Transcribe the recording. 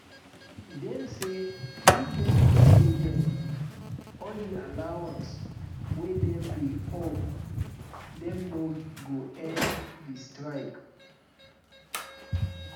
dem say if dem no pay dem all di allowance wey dem dey owe dem no go end di strike